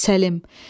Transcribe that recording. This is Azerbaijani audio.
Səlim.